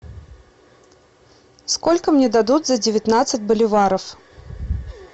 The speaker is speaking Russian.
сколько мне дадут за девятнадцать боливаров